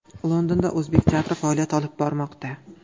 Londonda o‘zbek teatri faoliyat olib bormoqda.